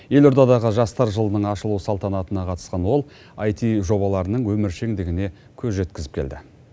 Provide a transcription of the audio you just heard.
елордадағы жастар жылының ашылу салтанатына қатысқан ол аити жобаларының өміршеңдігіне көз жеткізіп келді